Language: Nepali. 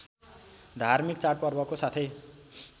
धार्मिक चाडपर्वको साथै